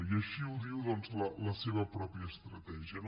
i així ho diu la seva pròpia estratègia